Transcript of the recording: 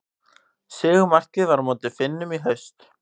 Sigurmarkið á móti Finnum í haust.